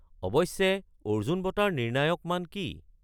অৱশ্যে, অৰ্জুন বঁটাৰ নিৰ্ণায়ক মান কি?